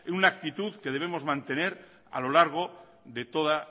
una actitud que debemos mantener a lo largo de toda